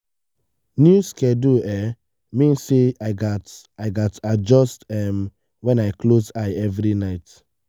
new schedule um mean say i gats i gats adjust um when i close eye every night.